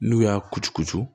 N'u y'a kucukucu